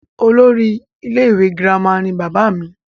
olórí ilé ìwé girama ni bàbá mi